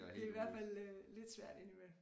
Det i hvert fald øh lidt svært ind i mellem